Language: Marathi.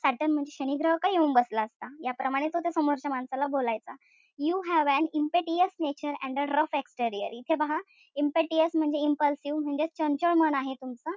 Saturn म्हणजे शनी ग्रह काही येऊन बसला असता. याप्रमाणे तो समोरच्या माणसाला बोलायचा. You have an impetuous nature an a rough exterior इथे पहा. Impetuous म्हणजे impassive म्हणजेच चंचल मन आहे तुमचं.